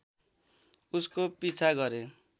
उसको पिछा गरे